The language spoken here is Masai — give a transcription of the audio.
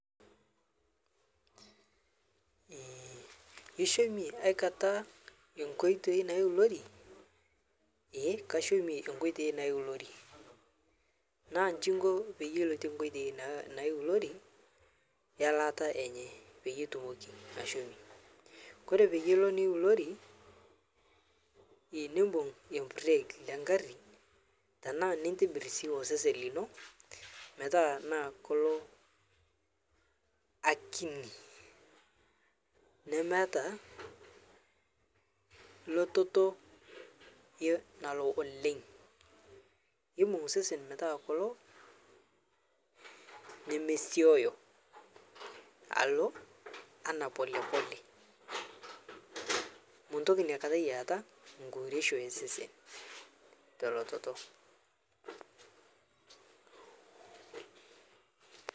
Eeh, ishomie akata ee nkoitei naiulori? Ee kashomie nkotei naiulori naa njingo payie iloite nkoitei naiulori elaata enye payie itumoki ashomie, kore payie ilo niulori nebung embureeg le ngari, tanaa nitibir si osesen lino metaa naa kol akini, nemeata, lototo, nalo oleng, ibung sesen metaa kolo nemesioyo, alo ana (cs polepole cs),muntoki nyiekatai aata nkiuresho e sesen, tolototo.